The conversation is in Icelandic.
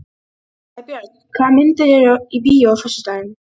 Sæbjörn, hvaða myndir eru í bíó á föstudaginn?